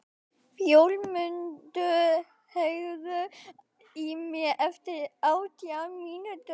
Fjólmundur, heyrðu í mér eftir átján mínútur.